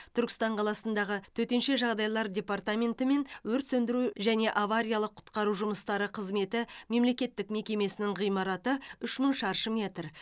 түркістан қаласындағы төтенше жағдайлар департаменті мен өрт сөңдіру және авариялық құтқару жұмыстары қызметі мемлекеттік мекемесінің ғимараты үш мың шаршы метр